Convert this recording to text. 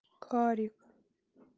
карик